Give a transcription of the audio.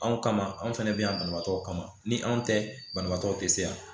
Anw kama anw fɛnɛ be yan banabaatɔ kama ni anw tɛ banabaatɔ te se yan